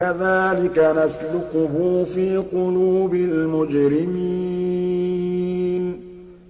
كَذَٰلِكَ نَسْلُكُهُ فِي قُلُوبِ الْمُجْرِمِينَ